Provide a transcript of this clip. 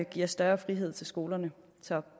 giver større frihed til skolerne så